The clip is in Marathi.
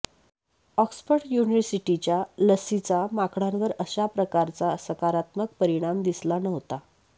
ऑक्सफर्ड युनिव्हर्सिटीच्या लसीचा माकडांवर अशा प्रकारचा सकारात्मक परिणाम दिसला नव्हता